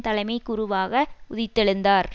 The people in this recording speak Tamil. தலைமை குருவாக உதித்தெழுந்தார்